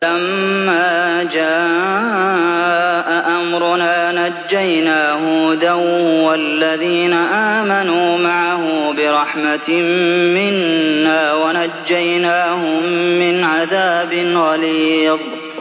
وَلَمَّا جَاءَ أَمْرُنَا نَجَّيْنَا هُودًا وَالَّذِينَ آمَنُوا مَعَهُ بِرَحْمَةٍ مِّنَّا وَنَجَّيْنَاهُم مِّنْ عَذَابٍ غَلِيظٍ